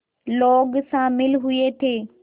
लोग शामिल हुए थे